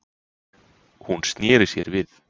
Hún sneri sér við.